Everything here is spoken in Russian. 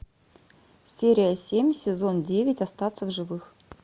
серия семь сезон девять остаться в живых